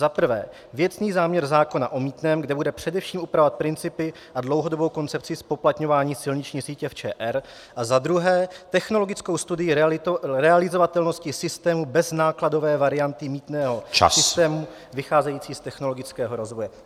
Za prvé věcný záměr zákona o mýtném, kde bude především upravovat principy a dlouhodobou koncepci zpoplatňování silniční sítě v ČR, a za druhé technologickou studii realizovatelnosti systému bez nákladové varianty mýtného systému vycházející z technologického rozvoje.